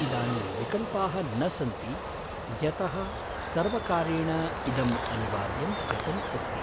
इदानीं विकल्पाः न सन्ति यतः सर्वकारेण इदम्‌ अनिवार्यं कृतम् अस्ति।